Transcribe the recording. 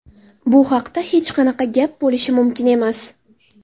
Bu haqda hech qanaqa gap bo‘lishi mumkin emas.